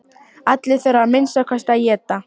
Allir þurfa að minnsta kosti að éta.